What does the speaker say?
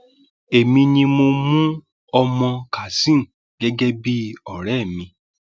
èmi ni mo mú ọ mọ kazeem gẹgẹ bíi ọrẹ mi